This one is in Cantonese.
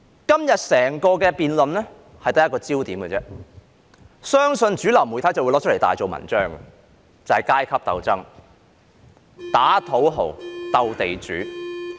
今天整項辯論只有一個焦點，相信主流媒體會拿出來大做文章，便是階級鬥爭——打土豪，鬥地主。